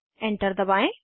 enter दबाएं